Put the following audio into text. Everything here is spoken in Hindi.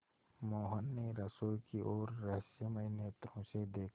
मोहन ने रसोई की ओर रहस्यमय नेत्रों से देखा